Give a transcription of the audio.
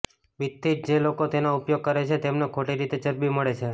બીજથી જ જે લોકો તેનો ઉપયોગ કરે છે તેમને ખોટી રીતે ચરબી મળે છે